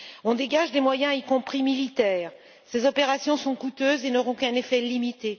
On dégage des moyens, y compris militaires. Ces opérations sont coûteuses et n'auront qu'un effet limité.